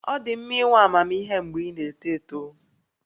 Ọ dị mma inwe amamihe mgbe ị na-eto eto